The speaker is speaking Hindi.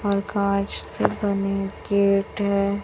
और कांच से बने गेट है।